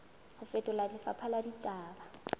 ho fetola lefapha la ditaba